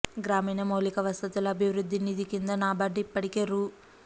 గ్రామీణ మౌలిక వసతుల అభివృద్ధి నిధి కింద నాబార్డు ఇప్పటికే రూ